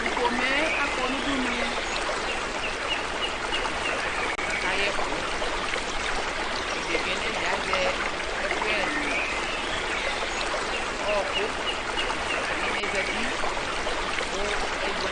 Tu pomɛɛ akɔɔ nudunuu kaka yɛku odekaɛ nayilii aƶɛɛ ɛkuyɛ nu ɔɔku Atamiunɛ ƶati laku ayevi